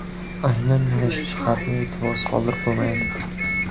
Aynan mana shuni jihatni e’tiborsiz qoldirib bo‘lmaydi.